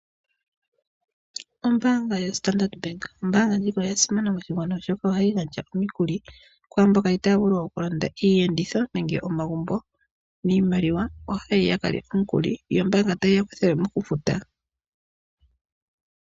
Ombanga YoStandard oyasimana noonkondo oshoka ohayi gandja omikuli kwaamboka itaya vulu okulanda iiyenditho nenge omagumbo niimaliwa ohaya yi yakalye omukuli yo ombaanga tayi yakuthilemo okufuta.